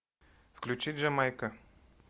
включи джамайка